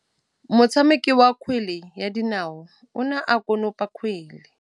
Motshameki wa kgwele ya dinaô o ne a konopa kgwele.